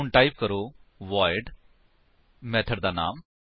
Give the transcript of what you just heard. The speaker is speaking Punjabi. ਹੁਣ ਟਾਈਪ ਕਰੋ ਵੋਇਡ ਮੇਥਡ ਦਾ ਨਾਮ